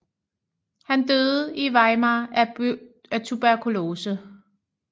Han døde i Weimar af tuberkulose